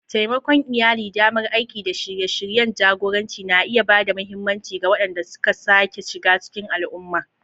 Taimakon iyali, damar aiki, da shirye-shiryen jagoranci na iya ba da mahimmanci ga waɗanda suka sake shiga cikin al'umma.